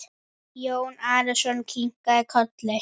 Jón Arason kinkaði kolli.